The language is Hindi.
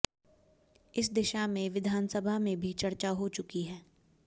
इस दिशा में विधानसभा में भी चर्चा हो चुकी है